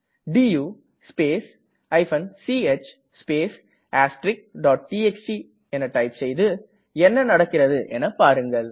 to space ch space txt பின் என்ன நடக்கிறது என்று பாருங்கள்